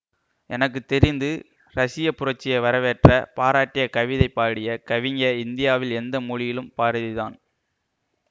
எனக்கு தெரிந்து ரசிய புரட்சிய வரவேற்ற பாராட்டிய கவிதை பாடிய கவிஞ இந்தியாவில் எந்த மொழியிலும் பாரதி தான்